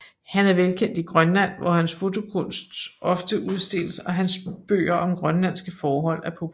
Han er velkendt i Grønland hvor hans fotokunst ofte udstilles og hans bøger om grønlandske forhold er populære